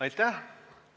Aitäh!